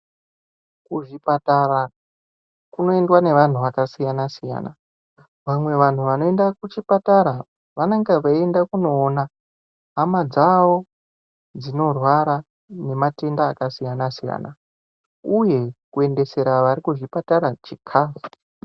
Kuzvipatara kunoindwa nevanhu vakasiyana-siyana. Vamwe vanhu vanoenda kuchipatara vanenge veienda kunoona hama dzavo dzinorwara nematenda akasiyana-siyana. Uye kuendesera vari kuzvipatara chikafu.